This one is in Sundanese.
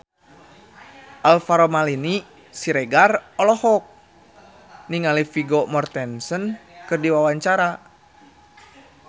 Alvaro Maldini Siregar olohok ningali Vigo Mortensen keur diwawancara